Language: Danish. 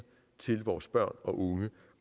til vores børn og unge